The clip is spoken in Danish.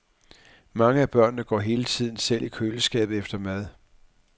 Mange af børnene går hele tiden selv i køleskabet efter mad.